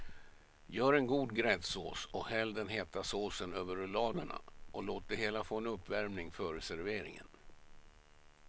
Gör en god gräddsås och häll den heta såsen över rulladerna och låt det hela få en uppvärmning före serveringen.